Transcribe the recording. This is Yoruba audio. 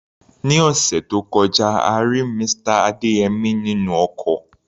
Ní ọ̀sẹ̀ tó kọjá, a rí Mr. Adeyemi nínú ọkọ̀.